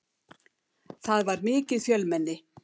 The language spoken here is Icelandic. Það var mikið fjölmenni.